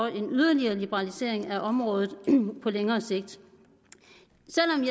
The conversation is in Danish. en yderligere liberalisering af området på længere sigt